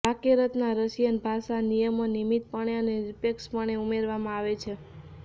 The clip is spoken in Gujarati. વાક્યરચના રશિયન ભાષા નિયમો નિયમિતપણે અને નિરપેક્ષપણે ઉમેરવામાં આવે છે